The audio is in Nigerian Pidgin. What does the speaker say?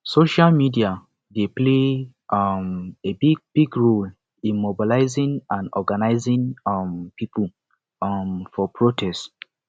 social media dey play um a big big role in organizing and mobilizing um people um for protest